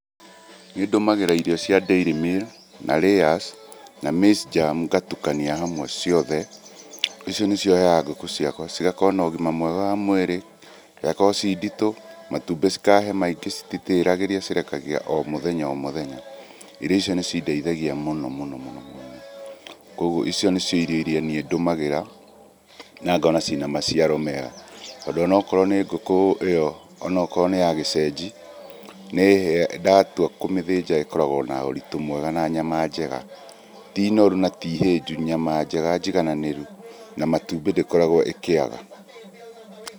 Nĩndũmagĩra irio cia Dairy Meal, na Layers na Maize Germ ngatukania, hamwe ciothe, icio nĩcio heaga ngũkũ ciakũa, cigakorũo na ũgima mwega wa mwĩrĩ, igakorũo ciĩ nditũ, matumbĩ cikahe maingĩ cititĩragĩria cirekagia o mũthenya o mũthenya. Irio icio nĩcindeithagia mũno mũno mũno mũno. Kuoguo, icio nĩcio irio iria niĩ ndũmagĩra, na ngona ciĩ na maciario mega. Tondũ onokorũo nĩ ngũkũ, ĩyo, onokorũo nĩ ya gĩcenji, nĩĩheaga ndatua kũmĩthinja ĩkoragũo na ũritu mwega na nyama njega. Ti noru na ti hĩnju, nyama njega njigananĩru, na matumbĩ ndĩkoragũo ĩkĩaga.